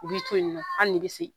U b'i to yen nɔ hali n'i bɛ se